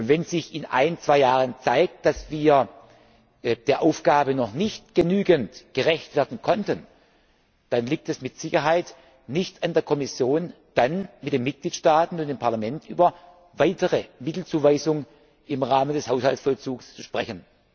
Wenn sich in ein, zwei Jahren zeigt, dass wir der Aufgabe noch nicht genügend gerecht werden konnten, dann liegt es mit Sicherheit nicht an der Kommission, dann mit den Mitgliedstaaten und dem Parlament über weitere Mittelzuweisungen im Rahmen des Haushaltsvollzugs zu sprechen.